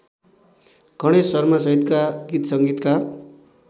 गणेश शर्मासहितका गीतसंगीतका